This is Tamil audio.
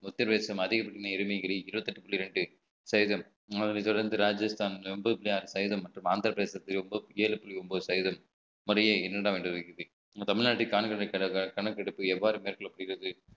உத்திரபிரதேசம் அதிகபட்ச எருமைகளை இருபத்தி எட்டு புள்ளி இரண்டு சதவீதம் அதனை தொடர்ந்து ராஜஸ்தான் எண்பத்தி ஆறு சதவீதம் மற்றும் ஆந்திர பிரதேசத்தில் ஏழு புள்ளி ஒன்பது சதவீதம் முறைய நம்ம தமிழ்நாட்டை காண்கின்ற கணக்கெடுப்பு எவ்வாறு மேற்கொள்ளப்படுகிறது